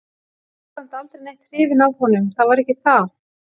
Var samt aldrei neitt hrifin af honum, það var ekki það.